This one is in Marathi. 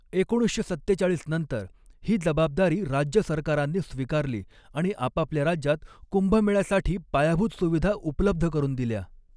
एकोणीसशे सत्तेचाळीस नंतर, ही जबाबदारी राज्य सरकारांनी स्वीकारली आणि आपापल्या राज्यात कुंभमेळ्यासाठी पायाभूत सुविधा उपलब्ध करून दिल्या.